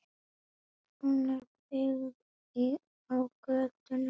Hún er byggð á gögnum víða að úr heiminum.